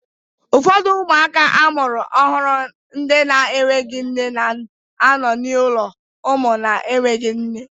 Ụfọdụ ụmụaka amụrụ ọhụrụ ndị na-enweghị nne na-anọ n'ụlọ ụmụ na-enweghị nne